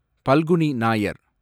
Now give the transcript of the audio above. Phalguni Nair